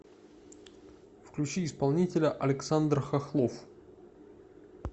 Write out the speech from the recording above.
включи исполнителя александр хохлов